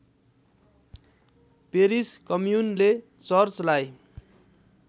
Paris कम्युनले चर्चलाई